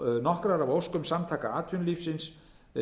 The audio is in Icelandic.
nokkrar af óskum samtaka atvinnulífsins